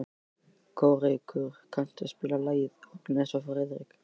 Kórekur, kanntu að spila lagið „Agnes og Friðrik“?